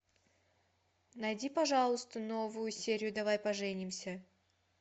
найди пожалуйста новую серию давай поженимся